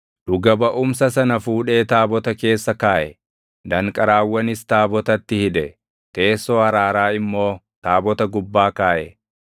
Dhuga baʼumsa sana fuudhee taabota keessa kaaʼe; danqaraawwanis taabotatti hidhe; teessoo araaraa immoo taabota gubbaa kaaʼe.